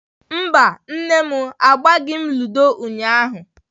Mba mummy, agbaghị m ludo ụnyahụ.